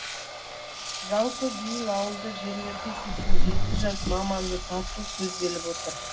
жалпы биыл ауылды жерлерге сексен жеті жас маманды тарту көзделіп отыр